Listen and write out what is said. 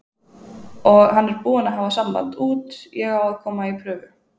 Og hann er búinn að hafa samband út, ég á að koma í prufu.